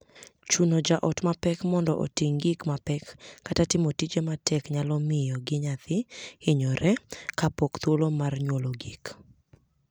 Chuno jaot ma pek mondo oting gik mapek kata timo tije matek nyalo miyo miyo gi nyathi hinyore kapok thuolo mar nyuol ogik.